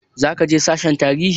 Zaka je sashen tarihi?